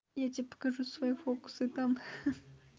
я тебе покажу свои фокусы там